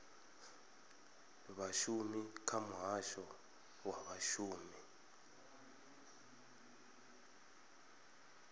vhashumi kha muhasho wa vhashumi